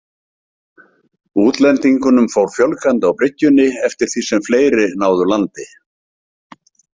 Útlendingunum fór fjölgandi á bryggjunni eftir því sem fleiri náðu landi.